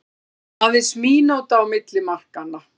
Aðeins mínúta á milli markanna